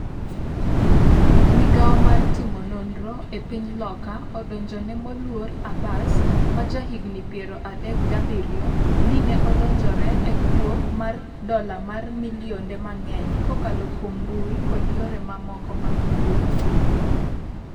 migawo mar timo nonro e piny Loka odonjone moluor Abbas, ma ja higni piero adek gi abiriyo, ni ne odonjore e kuo mar dola mar milionde mang’eny kokalo kuom mbui kod yore mamoko mag kuwo